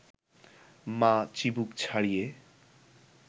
মা চিবুক ছাড়িয়ে